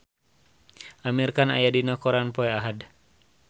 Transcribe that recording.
Amir Khan aya dina koran poe Ahad